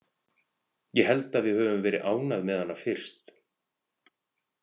Ég held að við höfum verið ánægð með hana fyrst.